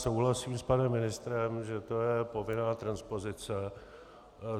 Souhlasím s panem ministrem, že to je povinná transpozice.